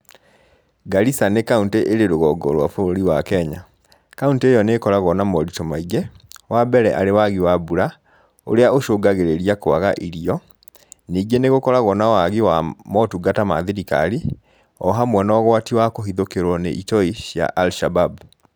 Garissa nĩ kauntĩ ĩrĩ rũgongo rwa bũrũri wa Kenya. Kauntĩ ĩyo nĩ ĩkoragwo na moritũ maingĩ, wa mbere arĩ wagi wa mbura, ũrĩa ũcungagĩrĩria kwaga irio. Ningĩ nĩ gũkoragwo na wagi wa motungata ma thirikari, o hamwe na ũgwati wa kũhithũkĩrwo nĩ itoi cia Alshabab